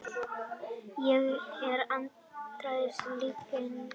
Ég er andstæðingur lyginnar.